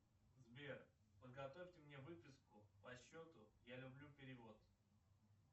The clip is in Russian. сбер подготовьте мне выписку по счету я люблю перевод